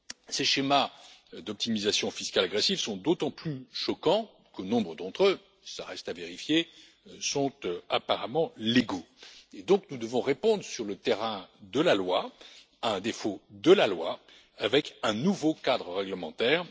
Ces schémas d'optimisation fiscale agressive sont d'autant plus choquants que nombre d'entre eux cela reste à vérifier sont apparemment légaux. Par conséquent, nous devons répondre sur le terrain de la loi à un défaut de la loi, avec un nouveau cadre réglementaire.